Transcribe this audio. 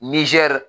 Nizɛri